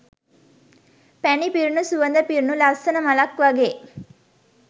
පැණි පිරුණු සුවඳ පිරුණු ලස්සන මලක් වගේ